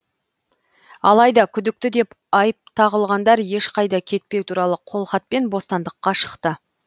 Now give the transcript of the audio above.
алайда күдікті деп айып тағылғандар ешқайда кетпеу туралы қолхатпен бостандыққа шықты